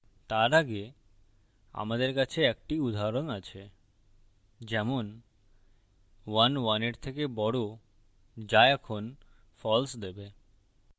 তার আগে আমাদের কাছে একটি উদাহরণ আছে যেমন ১ ১ এর থেকে বড় যা এখন false দেবে